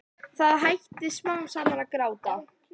Það hætti smám saman að gráta.